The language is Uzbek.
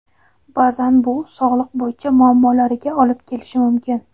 Baʼzan bu sog‘liq bo‘yicha muammolariga olib kelishi mumkin.